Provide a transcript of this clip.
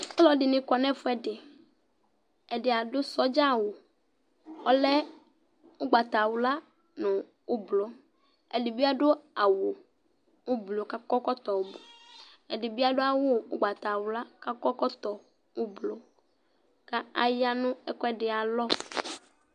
Ɔlɔdɩnɩ kɔ nʋ ɛfʋɛdɩ Ɛdɩ adʋ sɔdza awʋ, ɔlɛ ʋgbatawla nʋ ʋblʋ, ɛdɩ bɩ adʋ ʋblʋ kʋ akɔ ɛkɔtɔ ʋblʋ, ɛdɩ bɩ adʋ awʋ ʋgbatawla kʋ akɔ ɛkɔtɔ ʋblʋ kʋ aya nʋ ɛkʋɛdɩ ayalɔ